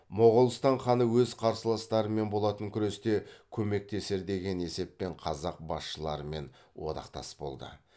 моғолстан ханы өз қарсыластарымен болатын күресте көмектесер деген есеппен қазақ басшыларымен одақтас болды